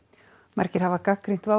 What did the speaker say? margir hafa gagnrýnt